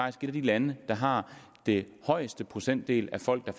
af de lande der har den højeste procentdel af folk der